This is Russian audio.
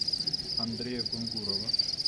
андрея кунгурова